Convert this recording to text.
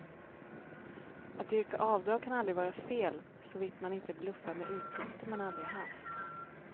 Att yrka avdrag kan aldrig vara fel, såvitt man inte bluffar med utgifter man aldrig haft.